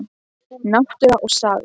Náttúra og saga.